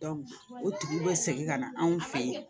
o tigi bɛ segin ka na anw fe yen